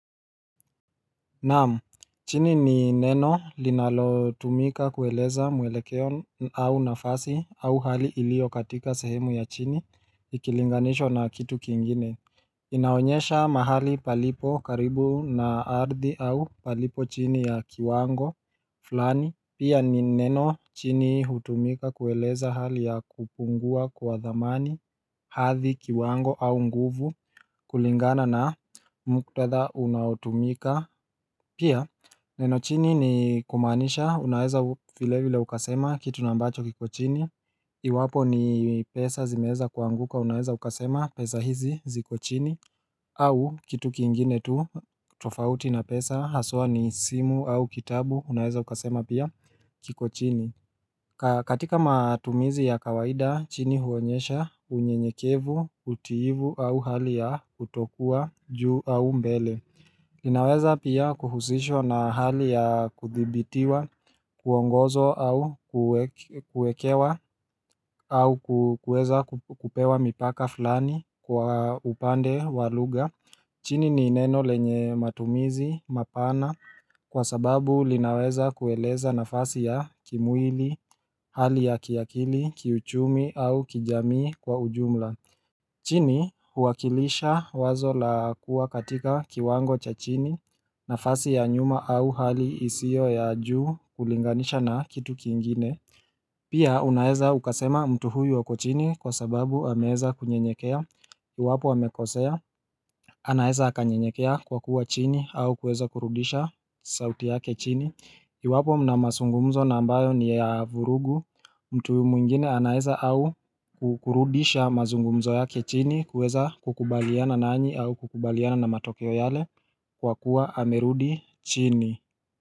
Naamu, chini ni neno linalotumika kueleza mwelekeo au nafasi au hali iliyo katika sehemu ya chini ikilingwanishwa na kitu kingine inaonyesha mahali palipo karibu na ardhi au palipo chini ya kiwango fulani Pia ni neno chini hutumika kueleza hali ya kupungua kwa dhamani hadhi kiwango au nguvu kulingana na mkutadha unaotumika pia Neno chini ni kumaanisha unaeza vilevile ukasema kitu na ambacho kiko chini Iwapo ni pesa zimeeza kuanguka unaeza ukasema pesa hizi ziko chini au kitu kiingine tu tofauti na pesa haswa ni simu au kitabu unaeza ukasema pia kiko chini katika matumizi ya kawaida chini huonyesha unyenyekevu utiivu au hali ya kutokuwa juu au mbele linaweza pia kuhusishwa na hali ya kudhibitiwa, kuongozwa au kuekewa au kueza kukupewa mipaka fulani kwa upande walugha. Chini ni neno lenye matumizi, mapana kwa sababu linaweza kueleza nafasi ya kimwili, hali ya kiakili, kiuchumi au kijamii kwa ujumla. Chini huakilisha wazo la kuwa katika kiwango cha chini nafasi ya nyuma au hali isio ya juu kulinganisha na kitu kiingine Pia unaeza ukasema mtu huyu ako chini kwa sababu ameeza kunyenyekea Kiwapo hamekosea, anaeza akanyenyekea kwa kuwa chini au kuweza kurudisha sauti yake chini Iwapo mna masungumzo na ambayo ni ya vurugu mtu mwingine anaeza au kukurudisha mazungumzo yake chini kuweza kukubaliana nanyi au kukubaliana na matokeo yale kwa kuwa amerudi chini.